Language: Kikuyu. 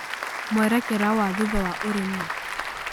Mũerekera wa thutha wa ũrĩmi